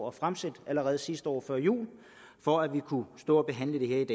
og fremsat allerede sidste år før jul for at vi kunne stå og behandle det her i